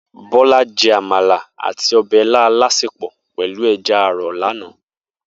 Bola jè ámàlá àtí òbè ilã àlásépò pèlú èjà àrò làná